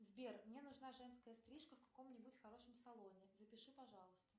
сбер мне нужна женская стрижка в каком нибудь хорошем салоне запиши пожалуйста